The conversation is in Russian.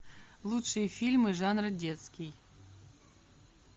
лучшие фильмы жанра детский